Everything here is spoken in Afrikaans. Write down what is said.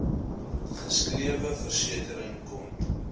geskrewe versekering kon